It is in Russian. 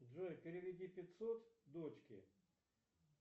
джой переведи пятьсот дочке